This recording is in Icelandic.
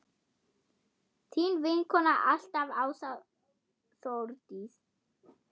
Þín vinkona alltaf, Ása Þórdís.